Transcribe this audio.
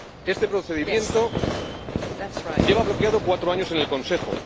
Este procedimiento lleva bloqueado cuatro años en el Consejo.